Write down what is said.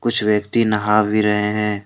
कुछ व्यक्ति नहा भी रहे हैं।